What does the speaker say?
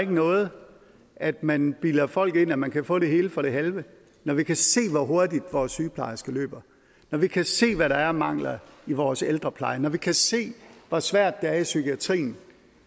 noget at man bilder folk ind at man kan få det hele for det halve når vi kan se hvor hurtigt vores sygeplejerske løber når vi kan se hvad der er af mangler i vores ældrepleje når vi kan se hvor svært det er i psykiatrien